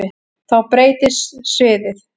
Þá breytist sviðið.